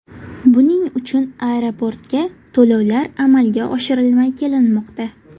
Buning uchun aeroportga to‘lovlar amalga oshirilmay kelinmoqda.